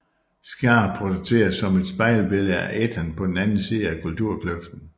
Scar portrætteres som et spejlbillede af Ethan på den anden side at kulturkløften